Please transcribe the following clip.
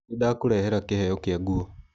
Nĩndakũrehera kĩheo kĩa nguo.